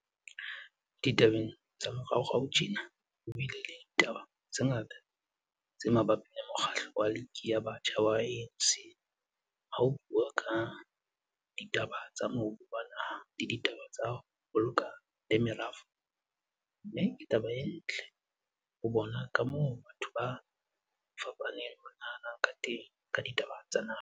Ditabeng tsa moraorao tjena, ho bile le ditaba tse ngata tse mabapi le Mokgatlo wa Liki ya Batjha wa ANC ha ho buuwa ka ditaba tsa mobu wa naha le ditaba tsa, ho boloka le merafo, mme ke taba e ntle ho bona ka moo batho ba fapaneng ba nahanag kateng ka ditaba tsa naha.